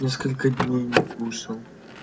несколько дней не кушал